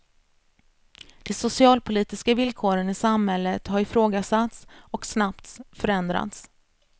De socialpolitiska villkoren i samhället har ifrågasatts och snabbts förändrats.